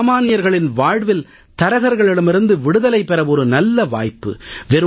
சாமான்யர்களின் வாழ்வில் தரகர்களிடமிருந்து விடுதலை பெற ஒரு நல்ல வாய்ப்பு